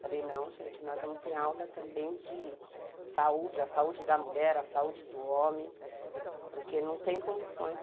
Falei, não, gente, nós vamos ter aula também de saúde, a saúde da mulher, a saúde do homem, porque não tem condições.